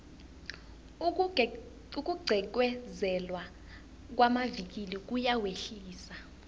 ukugqekezelwa kwamavikili kuyawehlisa